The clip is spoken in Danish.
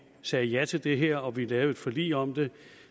sagde ja til det her og vi lavede et forlig om det